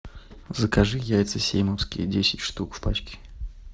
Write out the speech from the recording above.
закажи яйца симовские десять штук в пачке